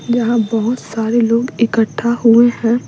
जहां बहुत सारे लोग इकट्ठा हुए हैं।